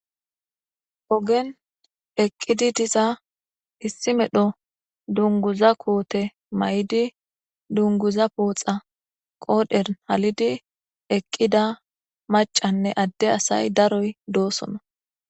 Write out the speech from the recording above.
ogen eqqidi disa issi medho dunguza koote may7idi dunguza pooxa qoodher halidi eqqida macanne adde asay daroy doosona